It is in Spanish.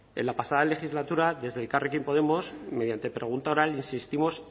en la pasada legislatura desde elkarrekin podemos mediante pregunta oral insistimos